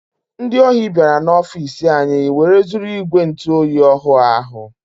Ndị ọhi biara n'ofici anyị wee zụrụ ìgwè ntụ oyi ọhụụ ahụ.